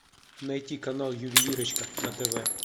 найти канал ювелирочка на тв